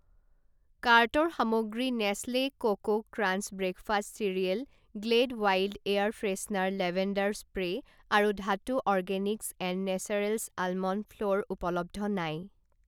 কাৰ্টৰ সামগ্ৰী Nestle Coco Crunch breakfast cereal, Glade wild air freshener lavender spray আৰু Dhatu organics and naturals almond flour উপলব্ধ নাই।